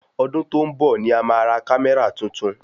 Ọdún tó ń bọ̀ ni a ma ra kamẹra tuntun